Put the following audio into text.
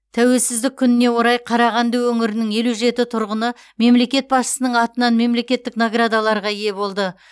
тәуелсіздік күніне орай қарағанды өңірінің елу жеті тұрғыны мемлекет басшысының атынан мемлекеттік наградаларға ие болды